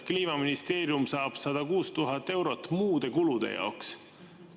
Kliimaministeerium saab 106 000 eurot muude kulude jaoks.